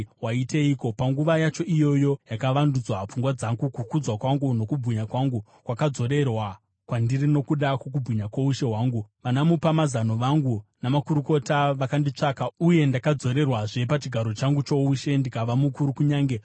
Panguva yacho iyoyo yakavandudzwa pfungwa dzangu, kukudzwa kwangu nokubwinya kwangu kwakadzorerwa kwandiri nokuda kwokubwinya kwoushe hwangu. Vanamupamazano vangu namakurukota vakanditsvaka, uye ndakadzorerwazve pachigaro changu choushe ndikava mukuru kunyange kupfuura kare.